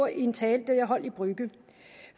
en tale jeg holdt i brügge